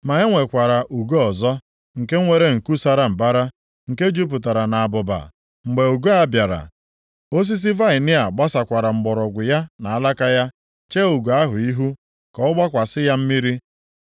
“ ‘Ma e nwekwara ugo ọzọ, nke nwere nku sara mbara, nke jupụtara nʼabụba. Mgbe ugo a bịara, osisi vaịnị a gbasakwara mgbọrọgwụ ya na alaka ya, chee ugo ahụ ihu, ka ọ gbakwasị ya mmiri.